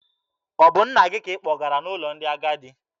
Ọ bụ nna gị ka ị kpọgara n'ụlọ ndị agadi?